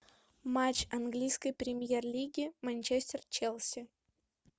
матч английской премьер лиги манчестер челси